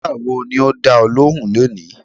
Dókítà wo ni o dá ọ lóhùn lónìí?